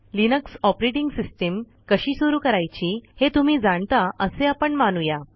Linux operating system कशी सुरू करायची हे तुम्ही जाणता असे आपण मानू या